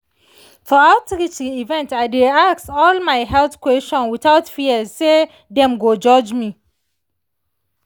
for outreach event i dey ask all my health question without fear say dem go judge me.